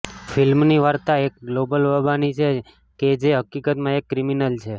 ફિલ્મની વાર્તા એક ગ્લોબલ બાબાની છે કે જે હકીકતમાં એક ક્રિમિનલ છે